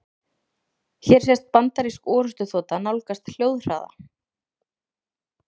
Hér sést bandarísk orrustuþota nálgast hljóðhraða.